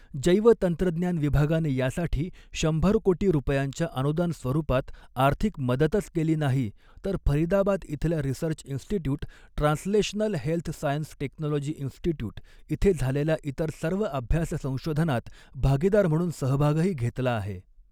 जैवतंत्रज्ञान विभागाने यासाठी शंभर कोटी रुपयांच्या अनुदान स्वरुपात आर्थिक मदतच केली नाही तर फरिदाबाद इथल्या research institute translational health science technology institute इथे झालेल्या इतर सर्व अभ्यास संशोधनात भागीदार म्हणून सहभागही घेतला आहे.